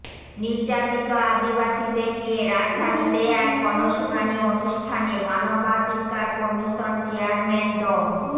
নির্যাতিত আদিবাসীদের নিয়ে রাজধানীতে এক গণশুনানি অনুষ্ঠানে মানবাধিকার কমিশন চেয়ারম্যান ড